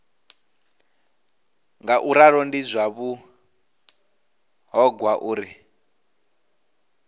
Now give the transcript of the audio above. ngauralo ndi zwa vhuṱhogwa uri